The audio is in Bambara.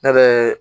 Ne bɛ